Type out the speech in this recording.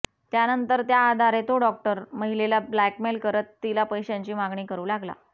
त्यानंतर त्याआधारे तो डॉक्टर महिलेला ब्लॅकमेल करत तिला पैशाची मागणी करू लागला